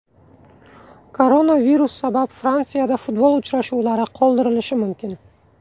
Koronavirus sabab Fransiyada futbol uchrashuvlari qoldirilishi mumkin.